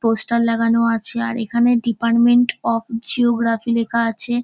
Poster লাগানো আছে আর এখানে ডিপার্টমেন্ট অফ জিওগ্রেফি লেখা আছে।